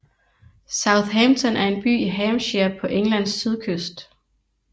Southampton er en by i Hampshire på Englands sydkyst